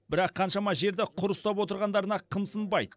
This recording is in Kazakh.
бірақ қаншама жерді құр ұстап отырғандарына қымсынбайды